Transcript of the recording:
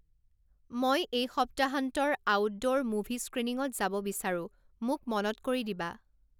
মই এই সপ্তাহান্তৰ আউটদ'ৰ মুভি স্ক্ৰিণিংত যাব বিচাৰো মোক মনত কৰি দিবা